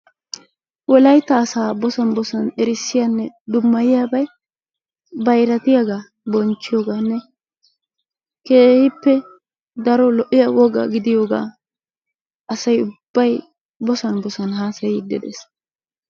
wolaytta asaa bossan bossan erissiyaanne dummayiyyabay bayraatiyaagaa bonchchiyooganne keehippe daro lo''iyaa woga gidiyoogaa asay ubbay bossan bossan haassayide dees.